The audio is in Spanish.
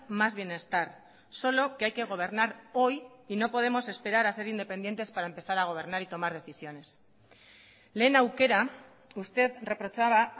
más bienestar solo que hay que gobernar hoy y no podemos esperar a ser independientes para empezar a gobernar y tomar decisiones lehen aukera usted reprochaba